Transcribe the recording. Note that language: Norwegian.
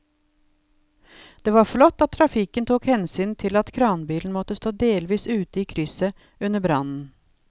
Det var flott at trafikken tok hensyn til at kranbilen måtte stå delvis ute i krysset under brannen.